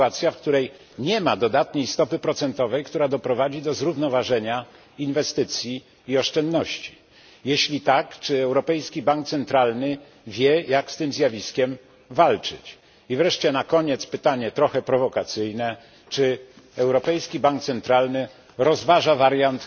sytuacja, w której nie ma dodatniej stopy procentowej, która doprowadzi do zrównoważenia inwestycji i oszczędności? Jeśli tak, czy Europejski Bank Centralny wie, jak z tym zjawiskiem walczyć? Wreszcie na koniec pytanie trochę prowokacyjne czy Europejski Bank Centralny rozważa wariant